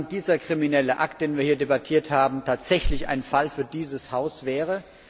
Wissen Sie, wann dieser kriminelle Akt, den wir hier debattiert haben, tatsächlich ein Fall für dieses Haus wäre?